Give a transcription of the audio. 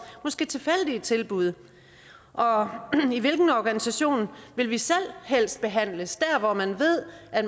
måske tilfældige tilbud og i hvilken organisation vil vi selv helst behandles dér hvor man ved at